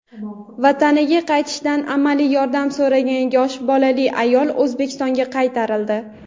vataniga qaytishda amaliy yordam so‘ragan yosh bolali ayol O‘zbekistonga qaytarildi.